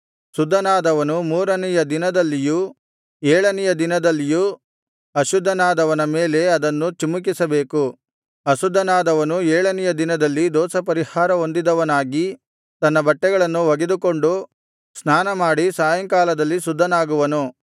ಶುದ್ಧನಾದವನು ಮೂರನೆಯ ದಿನದಲ್ಲಿಯೂ ಏಳನೆಯ ದಿನದಲ್ಲಿಯೂ ಅಶುದ್ಧನಾದವನ ಮೇಲೆ ಅದನ್ನು ಚಿಮಿಕಿಸಬೇಕು ಅಶುದ್ಧನಾದವನು ಏಳನೆಯ ದಿನದಲ್ಲಿ ದೋಷಪರಿಹಾರ ಹೊಂದಿದವನಾಗಿ ತನ್ನ ಬಟ್ಟೆಗಳನ್ನು ಒಗೆದುಕೊಂಡು ಸ್ನಾನಮಾಡಿ ಸಾಯಂಕಾಲದಲ್ಲಿ ಶುದ್ಧನಾಗುವನು